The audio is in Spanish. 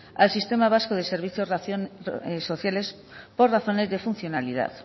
al sistema vasco de servicios sociales por razones de funcionalidad